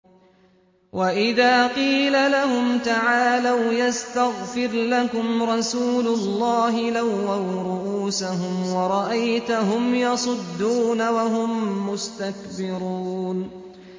وَإِذَا قِيلَ لَهُمْ تَعَالَوْا يَسْتَغْفِرْ لَكُمْ رَسُولُ اللَّهِ لَوَّوْا رُءُوسَهُمْ وَرَأَيْتَهُمْ يَصُدُّونَ وَهُم مُّسْتَكْبِرُونَ